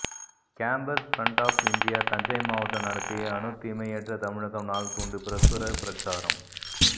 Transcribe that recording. campus front of India Thanjai மாவட்டம் நடத்திய அணுத் தீமையற்ற தமிழகம் நாள் துண்டு பிரசுர பிரச்சாரம்